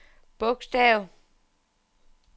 bogstav